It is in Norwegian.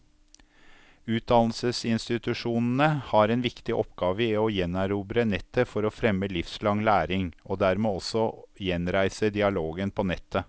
Utdannelsesinstitusjonene har en viktig oppgave i å gjenerobre nettet for å fremme livslang læring, og dermed også gjenreise dialogen på nettet.